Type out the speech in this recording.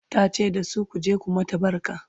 ta ce dasu " ku je ku mata barka!"